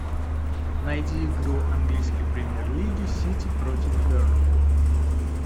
найди игру английской премьер лиги сити против бернли